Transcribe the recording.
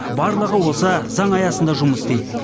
барлығы осы заң аясында жұмыс істейді